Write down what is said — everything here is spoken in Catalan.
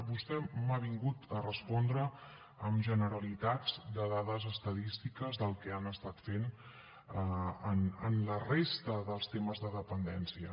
vostè m’ha vingut a respondre amb generalitats i dades estadístiques del que han estat fent en la resta dels temes de dependència